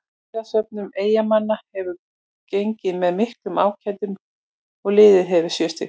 Stigasöfnun Eyjamanna hefur gengið með miklum ágætum og liðið hefur sjö stig.